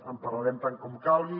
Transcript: en parlarem tant com calgui